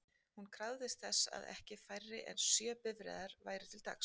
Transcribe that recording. Hún krafðist þess að ekki færri en sjö bifreiðar væru til taks.